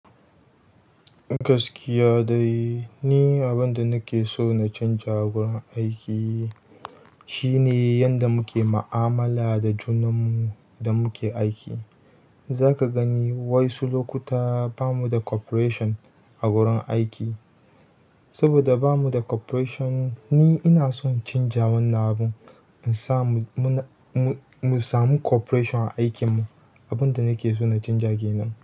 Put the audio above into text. Gaskiya dai ne, abin da nake so na canja a wurin aiki shine yanda muke ma'amala da junanmu da muke aiki. Zaka gani wasu lokuta bamu da cooperation a wurin aiki. Saboda ba mu da cooperation ni ina son canja wannan abun, in sa mu na, mu samu cooperation a aikinmu. Abin da nake so na canja ke nan.